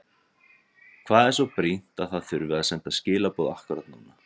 Hvað er svo brýnt að það þurfi að senda skilaboð akkúrat núna?